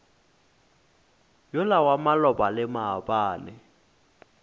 yola wa maloba le maabane